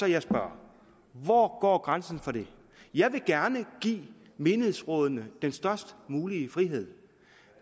jeg spørger hvor går grænsen for det jeg vil gerne give menighedsrådene den størst mulige frihed